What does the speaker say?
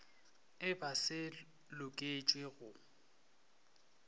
e ba se loketšwe go